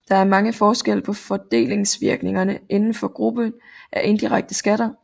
Der er også forskelle på fordelingsvirkningerne inden for gruppen af indirekte skatter